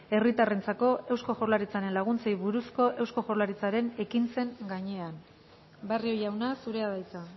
herritarrentzako eusko jaurlaritzaren laguntzei buruzko eusko jaurlaritzaren ekintzen gainean barrio jauna zurea da hitza